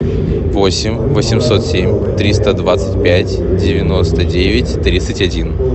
восемь восемьсот семь триста двадцать пять девяносто девять тридцать один